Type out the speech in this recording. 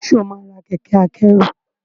ṣe ọ má rà Kẹ̀kẹ́ akẹ́rù?